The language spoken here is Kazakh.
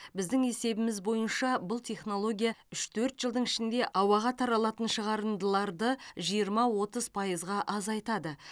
біздің есебіміз бойынша бұл технология үш төрт жылдың ішінде ауаға таралатын шығарындыларды жиырма отыз пайызға азайтады